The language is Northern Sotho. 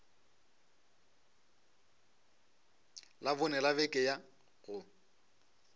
labone la beke ya go